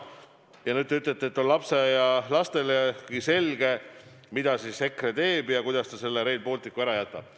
Ja veel te ütlete, et lastaialapselegi on selge, mida EKRE teeb ja kuidas ta selle Rail Balticu ära jätab.